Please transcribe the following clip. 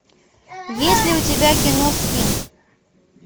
есть ли у тебя кино скин